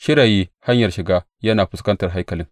Shirayi hanyar shiga yana fuskantar haikalin.